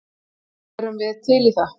Erum við til í það?